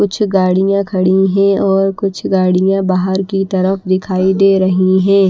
कुछ गाड़ियां खड़ी हैं और कुछ गाड़ियां बाहर की तरफ दिखाई दे रही हैं।